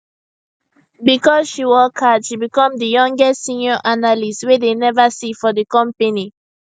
because she work hard she become di youngest senior analyst way dey never see for di company